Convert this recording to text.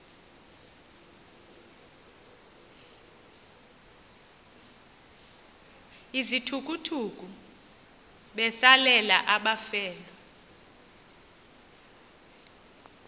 izithukuthuku besalela abafelwa